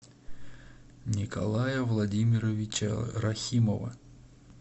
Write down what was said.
николая владимировича рахимова